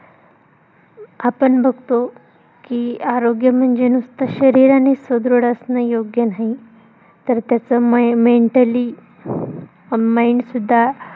आपण बघतो. की, आरोग्य म्हणजे नुसत शरीरानी सुदृढ असणं योग्य नाही. तर, त्याच mentally mind सुद्धा